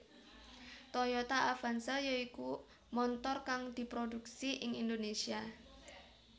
Toyota Avanza ya iku montor kang diprodhuksi ing Indonésia